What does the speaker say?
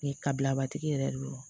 kabilabatigi yɛrɛ de don